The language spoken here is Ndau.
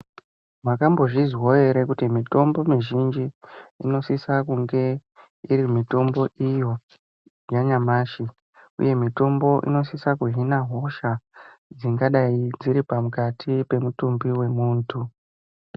Makambozvizwawo ere kuti mitombo mizhinji inosise kunge iri mitombo iyo yanyamashi uye mitombo inosisa kuhina hosha dzingadai dziripakati pemutumbi wemuntu.